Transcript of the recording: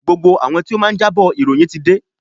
Gbogbo àwọn tí ó máa jábọ̀ ìròyìn ti dé.